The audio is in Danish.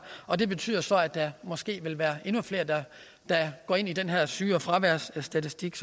og det betyder så at der måske vil være endnu flere der går ind i den her sygefraværsstatistik